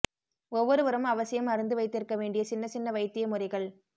ஒவ்வொருவரும் அவசியம் அறிந்து வைத்திருக்க வேண்டிய சின்ன சின்ன வைத்திய முறைகள்